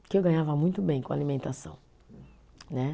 eu ganhava muito bem com alimentação, né.